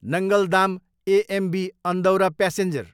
Nangal dam, AMB Andaura passenger